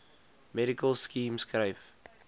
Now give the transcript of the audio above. medical scheme skryf